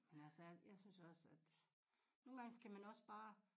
Men altså jeg jeg synes også at nogen gange skal man også bare